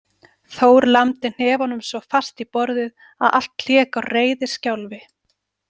Þór lamdi hnefanum svo fast í borðið að allt lék á reiðiskjálfi.